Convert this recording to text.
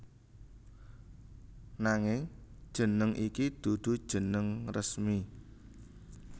Nanging jeneng iki dudu jeneng resmi